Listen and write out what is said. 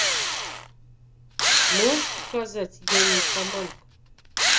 можешь показать я нимфоманка